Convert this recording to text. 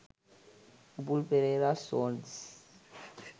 upul pereras songs